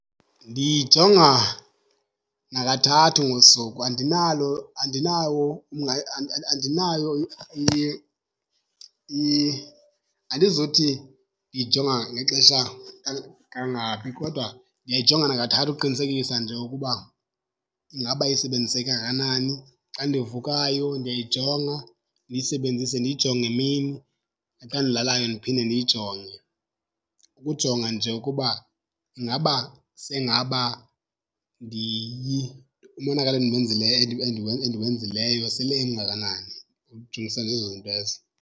Ndiyijonga nakathathu ngosuku. Andinalo andinawo andinayo, andizothi ndiyijonga ngexesha kangaphi kodwa ndiyayijonga nakathathu ukuqinisekisa nje ukuba ingaba isebenziseke kangakanani. Xa ndivukayo ndiyayijonga, ndiyisebenzise ndiyijonge emini, naxa ndilalayo ndiphinde ndiyijonge ukujonga nje ukuba ingaba sengaba umonakalo endimenzileyo, endiwenzileyo sele emngakanani. Ukujongisa nje ezo zinto ezo.